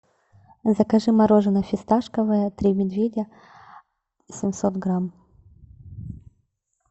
закажи мороженое фисташковое три медведя семьсот грамм